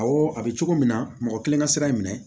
Awɔ a bɛ cogo min na mɔgɔ kelen ka sira in minɛ